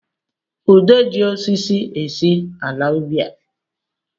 Ude ji osisi esi ala ubi a